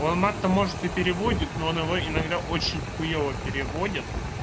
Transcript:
он мат томожет тебе переводит но она иногда очень хуева переводит